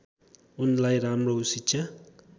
उनलाई राम्रो शिक्षा